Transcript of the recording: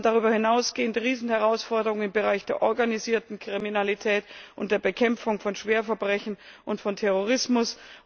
Wir haben darüber hinausgehend Riesenherausforderungen im Bereich der organisierten Kriminalität und der Bekämpfung von schweren Verbrechen und von Terrorismus.